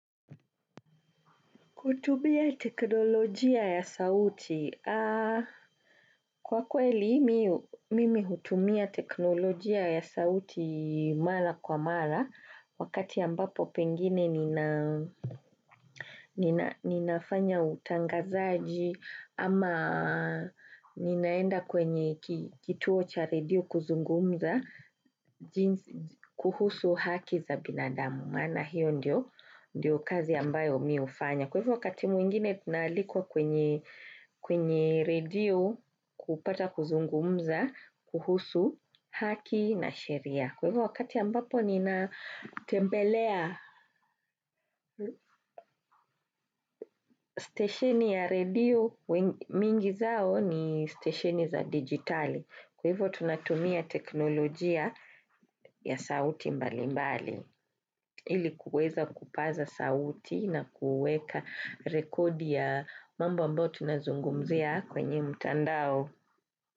Kutubia teknolojia ya sauti. Kwa kweli mimi hutumia teknolojia ya sauti mara kwa mara wakati ambapo pengine ninafanya utangazaji ama ninaenda kwenye kituo cha redio kuzungumza kuhusu haki za binadamu maana hiyo ndiyo kazi ambayo mimi hufanya. Kwa hivyo wakati mwingine tunaalikwa kwenye redio kupata kuzungumza, kuhusu haki na sheria. Kwa hivyo wakati ambapo ninatembelea station ya redio, mingi zao ni station za digitali. Kwa hivyo tunatumia teknolojia ya sauti mbali mbali. Ili kuweza kupaza sauti na kuweka rekodi ya mambo ambayo tunazungumzia kwenye mtandao.